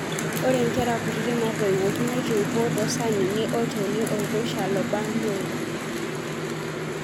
Ore nkere kutiti natoiwoki naitoipo tosanini olchoni oirusha lobaa neoro.